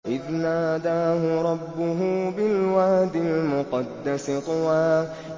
إِذْ نَادَاهُ رَبُّهُ بِالْوَادِ الْمُقَدَّسِ طُوًى